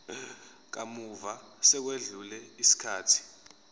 kamuva sekwedlule isikhathi